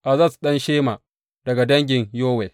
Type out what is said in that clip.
Azaz ɗan Shema daga dangin Yowel.